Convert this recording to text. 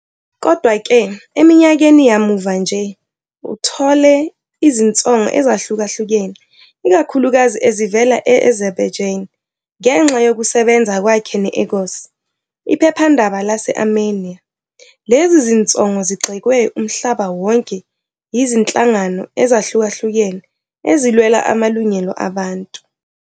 Kodwa-ke, eminyakeni yamuva nje, uthole izinsongo ezahlukahlukene ikakhulukazi ezivela e-Azerbaijan ngenxa yokusebenza kwakhe ne-Agos, iphephandaba lase-Armenia. Lezi zinsongo zigxekwe umhlaba wonke yizinhlangano ezahlukahlukene ezilwela amalungelo abantu.